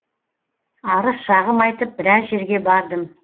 арыз шағым айтып біраз жерге бардым